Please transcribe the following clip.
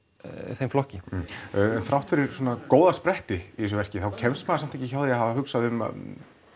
þeim flokki en þrátt fyrir svona góða spretti þá kemst maður samt ekki hjá því að hafa hugsað um að